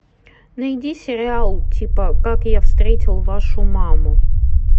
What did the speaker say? найди сериал типа как я встретил вашу маму